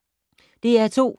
DR2